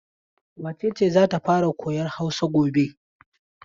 Wace ce za ta fara koyan Hausa gobe?